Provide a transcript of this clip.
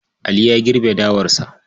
Ali ya girbe dawarsa.